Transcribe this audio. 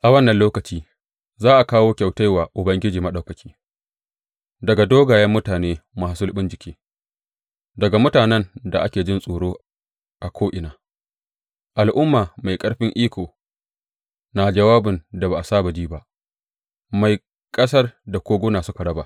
A wannan lokaci za a kawo kyautai wa Ubangiji Maɗaukaki daga dogayen mutane masu sulɓin jiki, daga mutanen da ake jin tsoro a ko’ina, al’umma mai ƙarfin iko na jawabin da ba a saba ji ba, mai ƙasar da koguna suka raba.